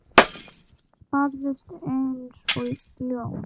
Barðist eins og ljón.